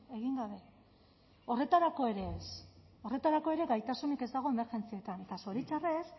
egin gabe horretarako ere ez horretarako ere gaitasunik ez dago emergentzietan eta zoritxarrez